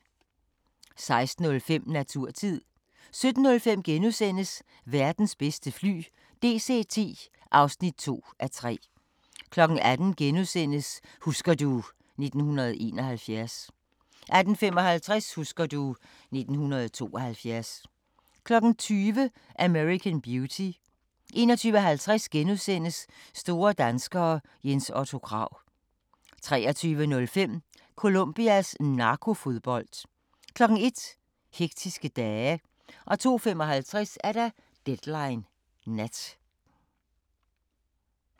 16:05: Naturtid 17:05: Verdens bedste fly – DC-10 (2:3)* 18:00: Husker du ... 1971 * 18:55: Husker du ...1972 20:00: American Beauty 21:50: Store danskere - Jens Otto Krag * 23:05: Colombias narkofodbold 01:00: Hektiske dage 02:55: Deadline Nat